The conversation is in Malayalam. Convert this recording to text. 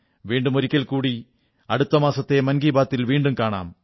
വീണ്ടും ഒരിക്കൽ കൂടി അടുത്ത മാസത്തെ മൻ കീ ബാത്തി ൽ വീണ്ടും കാണാം